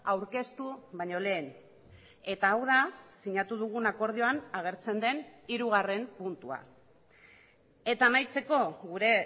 aurkeztu baino lehen eta hau da sinatu dugun akordioan agertzen den hirugarren puntua eta amaitzeko gure